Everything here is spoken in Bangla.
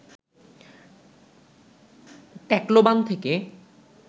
ট্যাকলোবান থেকে